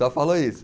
Só falou isso.